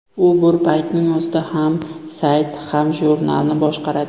U bir paytning o‘zida ham sayt, ham jurnalni boshqaradi.